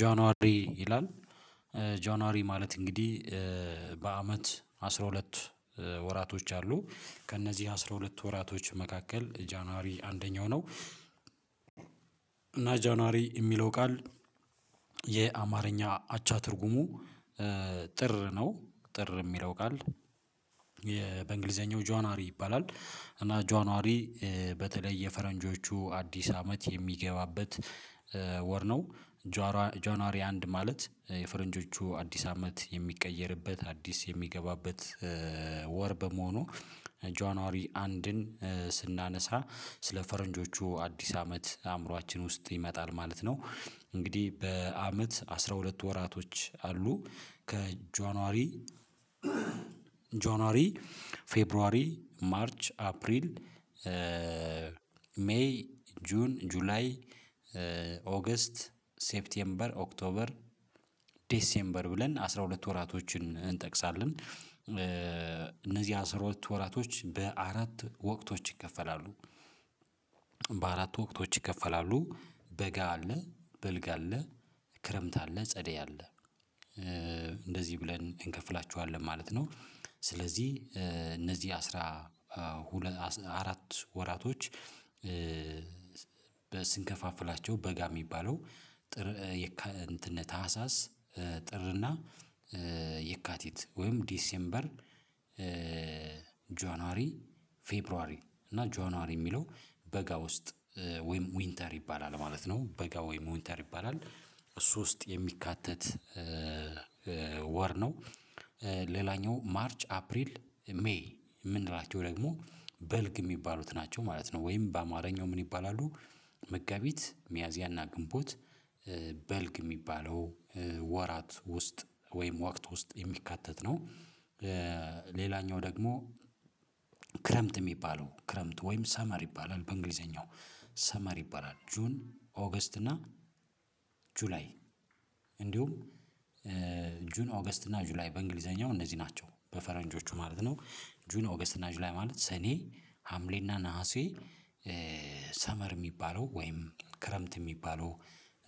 ጇንዋሪ ይላል ጇንዋሪ ማለት እንግዲህ በአመት አስራ ሁለት ወራቶች አሉ ከእነዚህ አስራ ሁለት ወራቶች መካከል ጇንዋሪ አንደኛው ነው። እና ጇንዋሪ የሚለው ቃል የአማርኛ አቻ ትርጉሙ ጥር ነው። ጥር የሚለው ቃል በእንግሊዘኛው ጁንዋሪ ይባላል። እና ጇንዋሪ በተለይ የፈረንጆቹ አዲስ አመት የሚገባበት ወር ነው። ጇንዋሪ አንድ ማለት የፈረንጆቹ አዲስ አመት የሚቀየርበት አዲስ የሚገባበት ወር በመሆኑ ጇኗዋሪ አንድን ስናነሳ ስለ ፈረንጆቹ አዲስ አመት አእምሮአችን ውስጥ ይመጣል ማለት ነው። እንግዲህ በአመት አስራ ሁለት ወራቶች አሉ ከጇኗዋሪ ጇኗዋሪ ፌብሩዋሪ ማርች አፕሪል ሜይ ጁን ጁላይ ኦገስት ሴፕቴምበር ኦክቶበር ዴሴምበር ብለን አስራ ሁለት ወራቶችን እንጠቅሳለን እነዚህ አስራ ሁለት ወራቶች በአራት ወቅቶች ይከፈላሉ። በአራት ወቅቶች ይከፈላሉ በጋ አለ በልግ አለ ክረምት አለ ጸደይ አለ እንደዚህ ብለን እንከፍላችኋለን ማለት ነው። ስለዚህ እነዚህ አስራ አራት ወራቶች ስንከፋፍላቸው በጋ የሚባለው ጥር እንትን ታህሳስ ጥርና የካቲት ወይም ዲሴምበር ጇኗዋሪ ፌብሩዋሪ እና ጇኗዋሪ የሚለው በጋ ውስጥ ወይም ዊንተር ይባላል ማለት ነው። በጋ ወይም ዊንተር ይባላል ሶስት የሚካተት ወር ነው። ሌላኛው ማርች አፕሪል ሜይ የምንላቸው ደግሞ በልግ የሚባሉት ናቸው ማለት ነው። ወይም በአማርኛው ምን ይባላሉ መጋቢት ሚያዚያና ግንቦት በልግ የሚባለው ወራት ውስጥ ወይም ወቅት ውስጥ የሚካተት ነው። ሌላኛው ደግሞ ክረምት የሚባለው ክረምት ወይም ሰመር ይባላል በእንግሊዘኛው ሰመር ይባላል ጁን ኦገስት እና ጁላይ እንዲሁም ጁን ኦገስት እና ጁላይ በእንግሊዘኛው እነዚህ ናቸው በፈረንጆቹ ማለት ነው። ጁን ኦገስት እና ጁላይ ማለት ሰኔ ሀምሌና ነሀሴ ሰመር የሚባለው ወይም ክረምት የሚባለው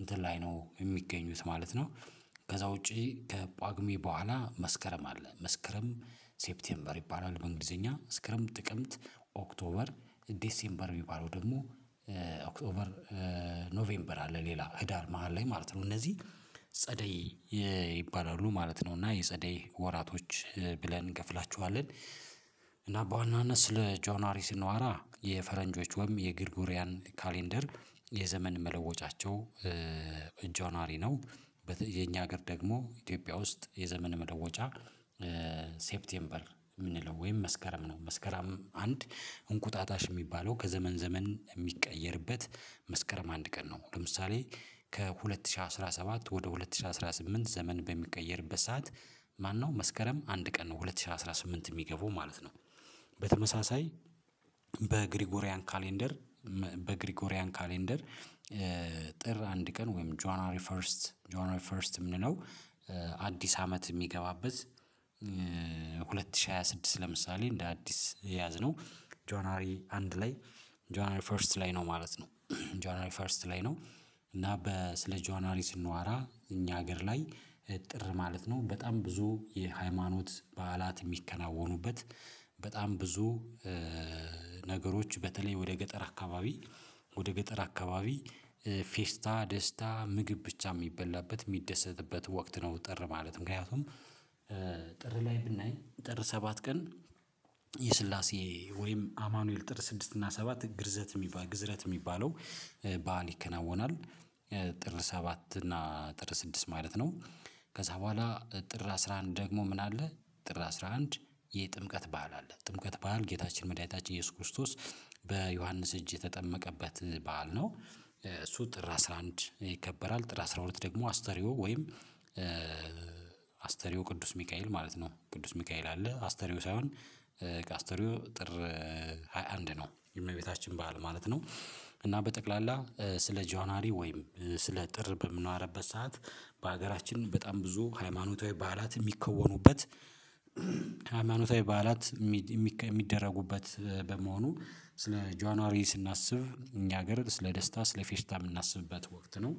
እንትን ላይ ነው የሚገኙት ማለት ነው። ከዛ ውጪ ከጳጉሜ በኋላ መስከረም አለ መስከረም ሴፕቴምበር ይባላል እንግሊዘኛ መስከረም ጥቅምት ኦክቶበር ዴሴምበር የሚባለው ደግሞ ኦክቶበር ኖቬምበር አለ ሌላ ህዳር መሃል ላይ ማለት ነው እነዚህ ጸደይ ይባላሉ ማለት ነው። እና የጸደይ ወራቶች ብለን እንከፍላቸዋለን እና በዋናነት ስለ ጁኗዋሪ ስንዋራ የፈረንጆች ወይም የግርጎሪያን ካሌንደር የዘመን መለወጫቸው ጇኗዋሪ ነው። የኛ ሀገር ደግሞ ኢትዮጵያ ውስጥ የዘመን መለወጫ ሴፕቴምበር የምንለው ወይም መስከረም ነው። መስከረም አንድ እንቁጣጣሽ የሚባለው ከዘመን ዘመን የሚቀየርበት መስከረም አንድ ቀን ነው። ለምሳሌ ከሁለት ሺህ አስራ ሰባት ወደ ሁለት ሺህ አስራ ስምንት ዘመን በሚቀየርበት ሰዓት ማነው መስከረም አንድ ቀን ነው ሁለት ሺህ አስራ ስምንት የሚገበው ማለት ነው። በተመሳሳይ በግሪጎሪያን ካሌንደር በግሪጎሪያን ካሌንደር ጥር አንድ ቀን ወይም ጁኗዋሪ ፈርስት ጁኗዋሪ ፈርስት የምንለው አዲስ አመት የሚገባበት። ሁለት ሺህ ሃያ ስድስት ለምሳሌ እንደ አዲስ የያዝነው ጁኗዋሪ አንድ ላይ ጁኗዋሪ ፈርስት ላይ ነው ማለት ነው። ጆናሪ ፈርስት ላይ ነው። እና ስለ ጆናሪ ስንዋራ እኛ ሀገር ላይ ጥር ማለት ነው በጣም ብዙ የሃይማኖት በዓላት የሚከናወኑበት በጣም ብዙ ነገሮች በተለይ ወደ ገጠር አካባቢ ወደ ገጠር አካባቢ ፌስታ ደስታ ምግብ ብቻ የሚበላበት የሚደሰትበት ወቅት ነው። ጥር ማለት ምክንያቱም ጥር ላይ ብናይ ጥር ሰባት ቀን የስላሴ ወይም አማኑኤል ጥር ስድስት እና ሰባት ግርዘት የሚባል ግዝረት የሚባለው በዓል ይከናወናል። ጥር ሰባት እና ጥር ስድስት ማለት ነው። ከዛ በኋላ ጥር አስራ አንድ ደግሞ ምን አለ ጥር አስራ አንድ የጥምቀት በዓል አለ ጥምቀት በዓል ጌታችን መዳይታችን ኢየሱስ ክርስቶስ በዮሐንስ እጅ የተጠመቀበት በዓል ነው። እሱ ጥር አስራ አንድ ይከበራል ጥላ ስራ ሁለት ደግሞ አስተርዮ ወይም አስተርዮ ቅዱስ ሚካኤል ማለት ነው ቅዱስ ሚካኤል አለ አስተርዮ ሳይሆን አስተርዮ ጥር ሃያ አንድ ነው የእመቤታችን በዓል ማለት ነው። እና በጠቅላላ ስለ ጁኗዋሪ ወይም ስለ ጥር በምንዋረበት ሰዓት በሀገራችን በጣም ብዙ ሃይማኖታዊ በዓላት የሚከወኑበት ሃይማኖታዊ በዓላት የሚደረጉበት በመሆኑ ስለ ጇኗዋሪ ስናስብ እኛ ሀገር ስለ ደስታ ስለ ፌስታ የምናስብበት ወቅት ነው